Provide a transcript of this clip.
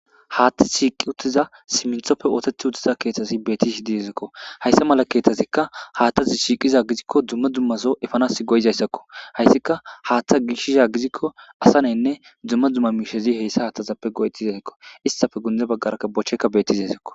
Haththi shiiqqi uuttiza simminttoppe oosetti uuttiza keththazi betishe de'esikko hayssi mala keththazikka haaththazi shiiqqiza gidikko dumma dummaso eepanas go'izayssakko hayssikka haththa gishiza gidikko asanayinne dumma dumma miishsha heyssa haaththezappe go'oettizaykko hessappe gundde baggarakka bochekka bettizayssakko